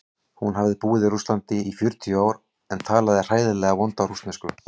Hún hafði búið í Rússlandi í fjörutíu ár en talaði hræðilega vonda rússnesku.